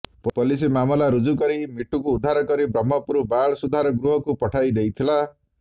police ମାମଲା ରୁଜୁ କରି ମିଟୁକୁ ଉଦ୍ଧାର କରି ବ୍ରହ୍ମପୁର ବାଳ ସୁଧାର ଗୃହକୁ ପଠାଇ ଦେଇଥିଲା